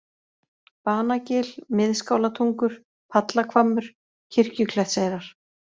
Banagil, Miðskálatungur, Pallahvammur, Kirkjuklettseyrar